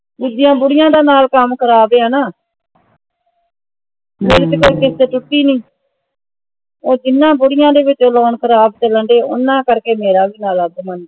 ਦੂਜੀ ਬੁੜੀਆਂ ਦਾ ਨਾਲ ਕੱਮ ਕਰ ਦਿਆਂ ਨਾ ਜਦ ਪਿੱਛੋਂ ਉਹ ਕਿਸ਼ਤ ਟੂਟੀ ਨਹੀਂ ਉਹ ਜਿਨ੍ਹਾਂ ਬੁੜ੍ਹੀਆਂ ਦਾ loan ਖਰਾਬ ਚੱਲਣ ਦਿਆਂ ਹੈ ਓਹਨਾ ਕਰਕੇ ਮੇਰਾ ਭੀ ਹਾਲ ਹੈ